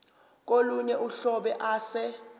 kolunye uhlobo ase